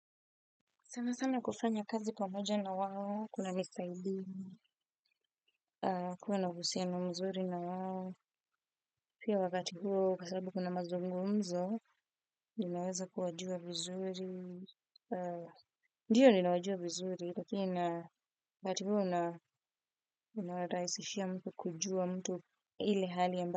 Sana sana kufanya kazi pamoja na wao, kuna nisaidini, kuwa na uhusiano mzuri na wao. Pia wakati huo, kwasababu kuna mazungu mzo, ninaweza kuwajua vizuri. Ndiyo ninawajua vizuri, lakini na wakati huo na unawarahisishia mtu kujua mtu ile hali amba.